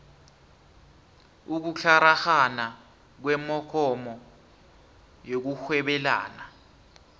ukutlaragana kwemogomo yokurhwebelana